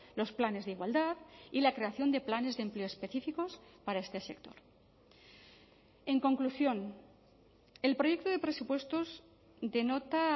los planes de igualdad y la creación de planes de empleo específicos para este sector en conclusión el proyecto de presupuestos denota